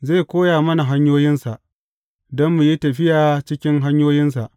Zai koya mana hanyoyinsa, don mu yi tafiya cikin hanyoyinsa.